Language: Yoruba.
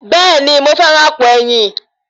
Bẹ́ẹ̀ni, mo fẹ́ràn àpò ẹ̀yìn.